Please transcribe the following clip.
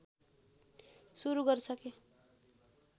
सुरु गरिसकेँ